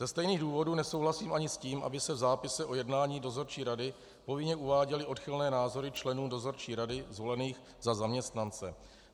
Ze stejných důvodů nesouhlasím ani s tím, aby se v zápise o jednání dozorčí rady hojně uváděly odchylné názory členů dozorčí rady zvolených za zaměstnance.